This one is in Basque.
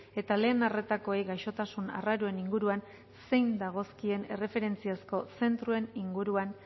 eta lehen arretakoei gaixotasun arraroen inguruan zein dagozkien erreferentziazko zentroen inguruan